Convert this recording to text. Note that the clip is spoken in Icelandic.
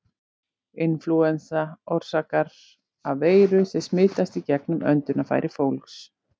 Inflúensa orsakast af veirum sem smitast í gegnum öndunarfæri fólks.